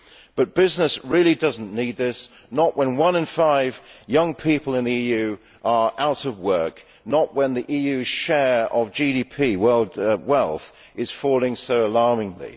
But business really does not need this not when one in five young people in the EU are out of work and when the EU share of GDP wealth is falling so alarmingly.